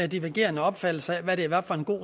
divergerende opfattelser af hvad det var for en god